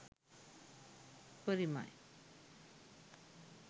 උපරිමයි